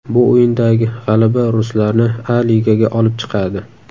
Bu o‘yindagi g‘alaba ruslarni A Ligaga olib chiqadi.